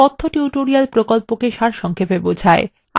এটি কথ্য tutorial প্রকল্পকে সারসংক্ষেপে বোঝায়